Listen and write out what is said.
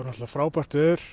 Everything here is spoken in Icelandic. frábært veður